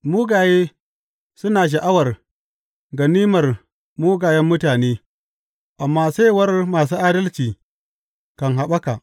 Mugaye suna sha’awar ganimar mugayen mutane, amma saiwar masu adalci kan haɓaka.